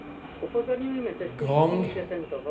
Grong